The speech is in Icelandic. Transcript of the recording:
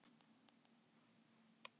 Thorberg, hvaða mánaðardagur er í dag?